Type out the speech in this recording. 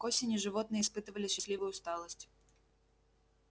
к осени животные испытывали счастливую усталость